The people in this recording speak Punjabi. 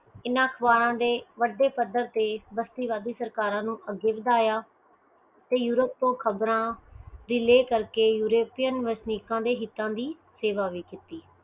ਇਹਨਾਂ ਅਖਬਾਰਾਂ ਦੇ ਵੱਡੇ ਪੱਧਰ ਤੇ ਵਸਤੀਵਾਦੀ ਸਰਕਾਰਾਂ ਨੂੰ ਅਗੇ ਵਧਾਇਆ ਤੇ ਯੂਰੋਪ ਤੋਂ ਖ਼ਬਰਾਂ delay ਕਰਕੇ ਯੂਰੋਪੀਅਨ ਵਸਨੀਕਾਂ ਦੇ ਹਿਤਾਂ ਦੀ ਸੇਵਾ ਵੀ ਕੀਤੀ